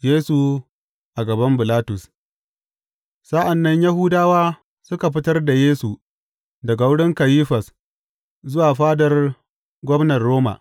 Yesu a gaban Bilatus Sa’an nan Yahudawa suka fitar da Yesu daga wurin Kayifas zuwa fadar gwamnar Roma.